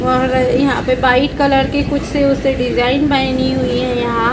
और यहां पे वाइट कलर के कुछ से उससे डिजाइन बनी हुई है यहां।